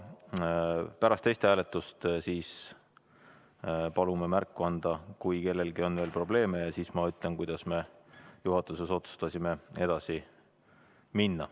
Pärast testhääletust palume märku anda, kui kellelgi on veel probleeme, ja siis ma ütlen, kuidas me juhatuses otsustasime edasi minna.